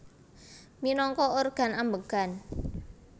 Minangka organ ambegan